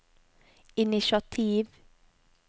initiativ